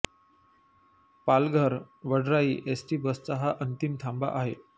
Palghar Vadrai ST बसचा हा अंतिम थांबा आहे